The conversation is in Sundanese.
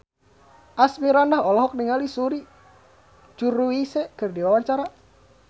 Asmirandah olohok ningali Suri Cruise keur diwawancara